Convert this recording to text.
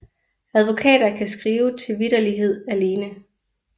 Advokater kan skrive til vitterlighed alene